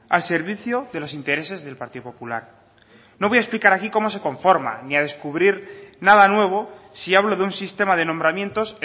al servicio de los intereses del partido popular no voy a explicar aquí como se conforma ni a descubrir nada nuevo si hablo de un sistema de nombramientos